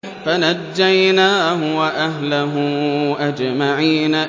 فَنَجَّيْنَاهُ وَأَهْلَهُ أَجْمَعِينَ